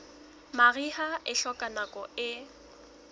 mariha e hloka nako e